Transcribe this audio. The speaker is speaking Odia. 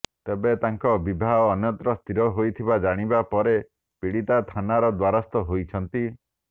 ତେବେ ତାଙ୍କ ବିବାହ ଅନ୍ୟତ୍ର ସ୍ଥିର ହୋଇଥିବା ଜାଣିବା ପରେ ପୀଡ଼ିତା ଥାନାର ଦ୍ୱାରସ୍ଥ ହୋଇଛନ୍ତି